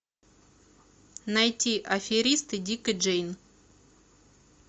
найти аферисты дик и джейн